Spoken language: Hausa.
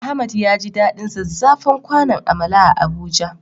Ahmad yaji daɗin zazzafan kwanon amala a Abuja.